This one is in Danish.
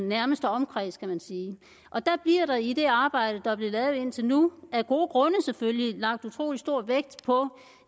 nærmeste omkreds kan man sige og der bliver der i det arbejde der er blevet lavet indtil nu af gode grunde selvfølgelig lagt utrolig stor vægt på